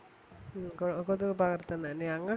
കൊതുക് പകർത്തുന്നന്നെയാ ഞങ്ങൾക്കും